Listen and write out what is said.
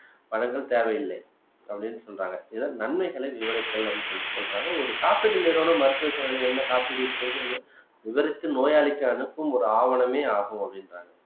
வழங்கத் தேவையில்ல அப்படின்னு சொல்றாங்க இதனால் நன்மைகளை விவரித்தல் அப்படின்னு சொல்லிட்டு சொல்றாங்க ஒரு காப்பீட்டு நிறுவனம் மருத்துவ சேவையில் என்ன காப்பீடு இருக்கிறது என்பது இவருக்கு நோயாளிக்கு அனுப்பு ஒரு ஆவணமே ஆகும் அப்படின்றாங்க